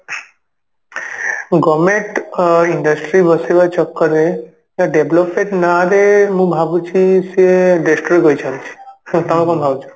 government uh industry ବସେଇବା ଚକ୍କରରେ ah development ନା ରେ ମୁଁ ଭାବୁଛି ସିଏ destroy କରୁଛନ୍ତି ତମେ କଣ ଭାବୁଛ?